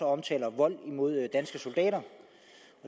omtaler vold imod danske soldater